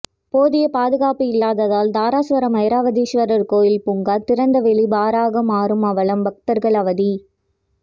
போதிய பாதுகாப்பு இல்லாததால் தாராசுரம் ஐராவதீஸ்வரர் கோயில் பூங்கா திறந்தவெளி பாராக மாறும் அவலம் பக்தர்கள் அவதி